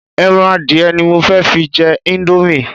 Ẹran adìẹ ni mo fẹ́ fi jẹ íńdómì.